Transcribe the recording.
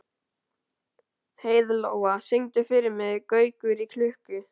Heiðlóa, syngdu fyrir mig „Gaukur í klukku“.